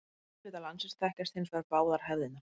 Í miðhluta landsins þekkjast hins vegar báðar hefðirnar.